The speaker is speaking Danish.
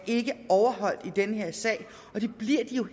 ikke overholdt i den her sag og det bliver de jo